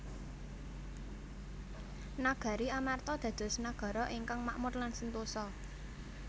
Nagari Amarta dados nagara ingkang makmur lan sentosa